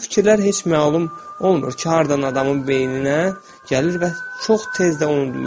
Bu fikirlər heç məlum olmur ki, hardan adamın beyninə gəlir və çox tez də unudulur.